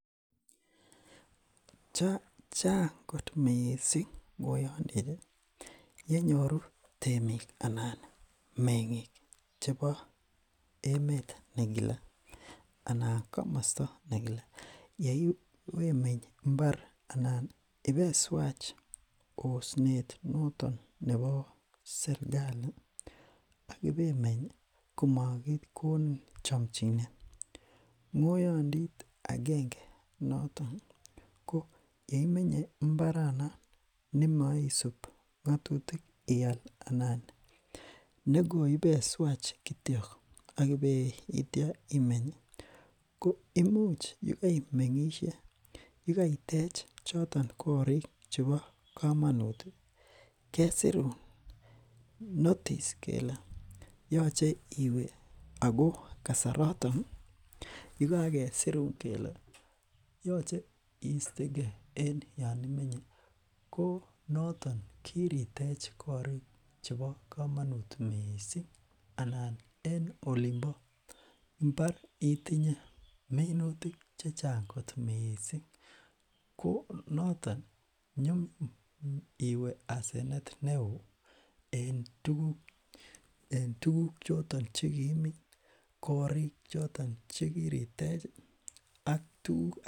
chang kot mising ngoyonditi ne nyoru temik anan menging chebo emet nekile anan komosto nekile yeiwemeny mbar anan ibeiswach osnet notok nebo serkali akibemeny komokikonin chomchinet ngoyondit akenge notok ko yeimenye mbaranon nemoisub ngotutik ial anan nekoibeswach kityok akibei tio imeny koimuch ibo imengsihei yekeitech choton korik chebo komonuti kesirun notis kele yoche iwe ako kasarotoni yekakesirun kele yoche istekee en yoon imenye ko noton kiritech korik chebo komonut mising ala en olimpo mbar itinye minutik chechang kot mising ko notoni nyunyum iwe asenet neoo en tuguk choton chekiimin korik choton chekiritechi ak tuguk